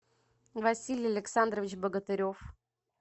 василий александрович богатырев